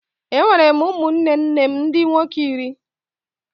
Enwere m ụmụnne nne m ndị nwoke iri.